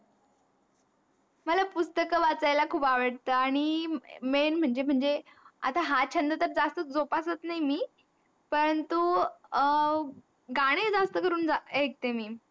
मला पुस्तक वाचायला खूप आवडतं, आणि main म्हनजे म्हनजे आता हा छंद जास्त जोपासत नाही मी पण तू अं गाने जास्त करून ऐकते मी.